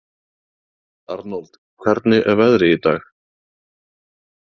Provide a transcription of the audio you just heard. Arnold, hvernig er veðrið í dag?